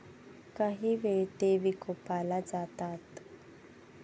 कांही वेळा ते विकोपाला जातात.